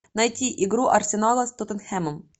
найти игру арсенала с тоттенхэмом